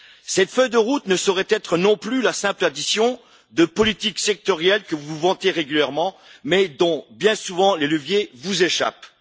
Cette feuille de route ne saurait être non plus la simple addition de politiques sectorielles que vous vantez régulièrement, mais dont, bien souvent, les leviers vous échappent.